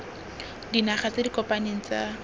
dinaga tse di kopaneng tsa